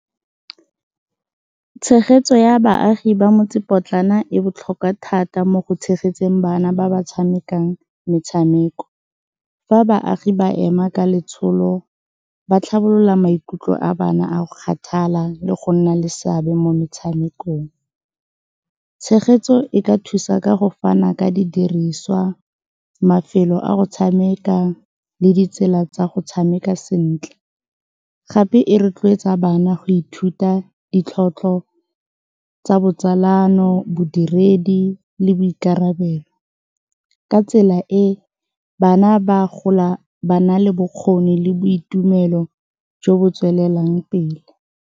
Tshegetso ya baagi ba motsepotlana e botlhokwa thata mo go tshegetseng bana ba ba tshamekang metshameko. Fa baagi ba ema ka letsholo, ba tlhabolola maikutlo a bana a go kgathala le go nna le seabe mo metshamekong. Tshegetso e ka thusa ka go fana ka didiriswa, mafelo a go tshameka le ditsela tsa go tshameka sentle. Gape e rotloetsa bana go ithuta ditlhotlho tsa botsalano, bodiredi le boikarabelo. Ka tsela e, bana ba gola ba na le bokgoni le boitumelo jo bo tswelelang pele.